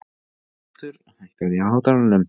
Arnaldur, hækkaðu í hátalaranum.